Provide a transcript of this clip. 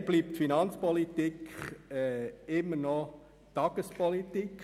Leider bleibt Finanzpolitik immer noch Tagespolitik.